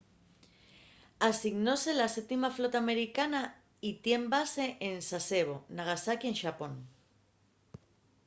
asignóse a la 7ª flota americana y tien base en sasebo nagasaki en xapón